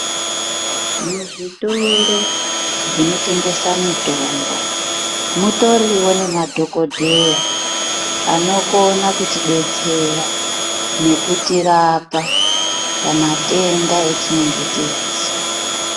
Muzvitoro zvinotengesa mitombo mutoriwo nema dhogodheya anokona kutidetsera nekutirapa pamatenda etinenge tiezwa.